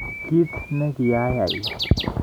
Kiit ne kiayai.